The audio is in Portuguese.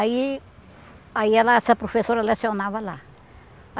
Aí aí ela, essa professora lecionava lá.